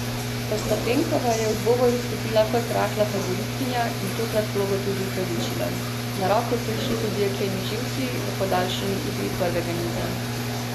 Ostapenkova je v dvoboj vstopila kot rahla favoritinja in tokrat vlogo tudi upravičila, na roko so ji šli tudi jekleni živci v podaljšanji igri prvega niza.